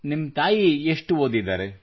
ನಿಮ್ಮ ತಾಯಿ ಎಷ್ಟು ಓದಿದ್ದಾರೆ